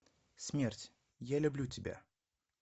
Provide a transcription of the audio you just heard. смерть я люблю тебя